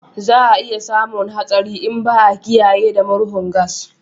Za a iya samun hatsari in ba a kiyaye da murhun gas